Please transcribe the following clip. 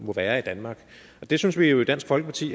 være i danmark det synes vi jo i dansk folkeparti